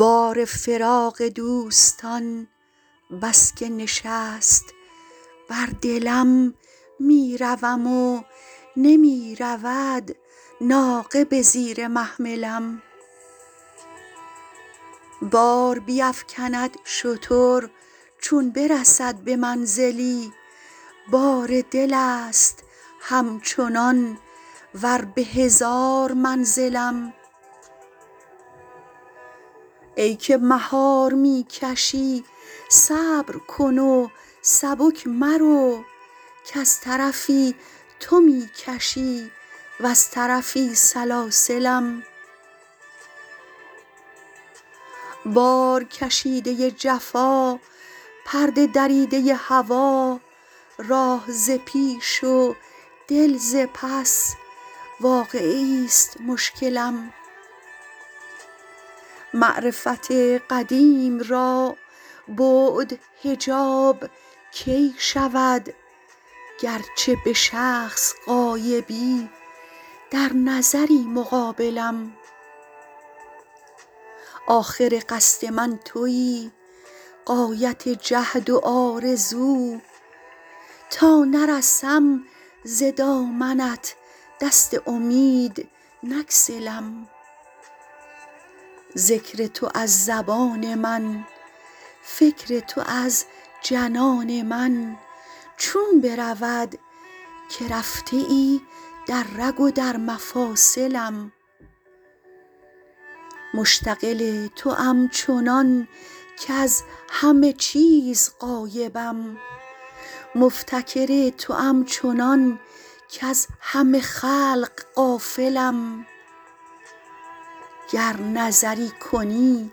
بار فراق دوستان بس که نشست بر دلم می روم و نمی رود ناقه به زیر محملم بار بیفکند شتر چون برسد به منزلی بار دل است همچنان ور به هزار منزلم ای که مهار می کشی صبر کن و سبک مرو کز طرفی تو می کشی وز طرفی سلاسلم بارکشیده ی جفا پرده دریده ی هوا راه ز پیش و دل ز پس واقعه ایست مشکلم معرفت قدیم را بعد حجاب کی شود گرچه به شخص غایبی در نظری مقابلم آخر قصد من تویی غایت جهد و آرزو تا نرسم ز دامنت دست امید نگسلم ذکر تو از زبان من فکر تو از جنان من چون برود که رفته ای در رگ و در مفاصلم مشتغل توام چنان کز همه چیز غایبم مفتکر توام چنان کز همه خلق غافلم گر نظری کنی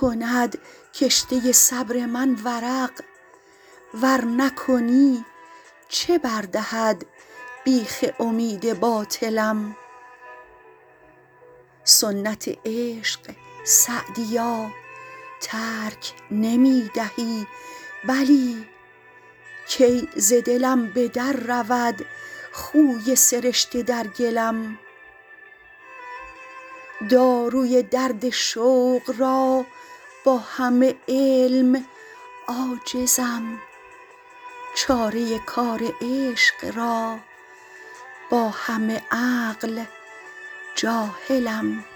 کند کشته صبر من ورق ور نکنی چه بر دهد بیخ امید باطلم سنت عشق سعدیا ترک نمی دهی بلی کی ز دلم به در رود خوی سرشته در گلم داروی درد شوق را با همه علم عاجزم چاره کار عشق را با همه عقل جاهلم